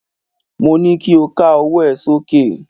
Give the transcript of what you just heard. Mo ní kí o ká ọwọ́ ẹ sókè!